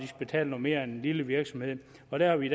betale noget mere end en lille virksomhed og der er vi